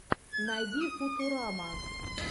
найди футурама